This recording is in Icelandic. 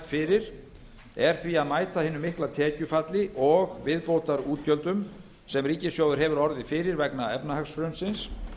fyrir er því að mæta hinu mikla tekjufalli og viðbótarútgjöldum sem ríkissjóður hefur orðið fyrir vegna efnahagshrunsins